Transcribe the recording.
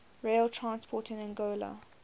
rail transport in angola